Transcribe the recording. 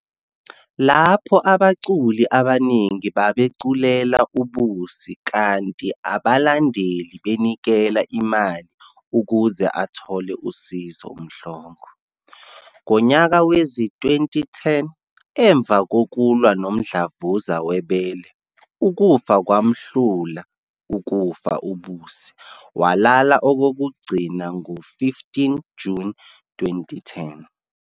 Lapho abaculi abaningi babeculela uBusi kanti abalandeli benikela imali ukuze athole usizo uMhlongo. Ngonyaka wezi-2010 emva kokulwa nomdlavuza webele, ukufa kwamhlula ukufa uBusi walala okokugcina ngo15 June 2010.